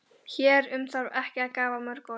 Hér um þarf ekki að hafa mörg orð.